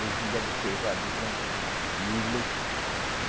Novilho pesar duzentos e vinte quilos.